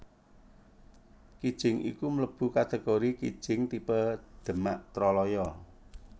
Kijing iku mlebu kategori kijing tipe Demak Troloyo